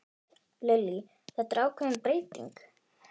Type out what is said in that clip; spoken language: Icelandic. Lillý: Þetta er ákveðin bylting?